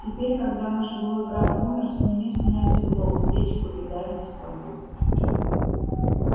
теперь когда наш былой враг умер сними с меня седло уздечку и дай мне свободу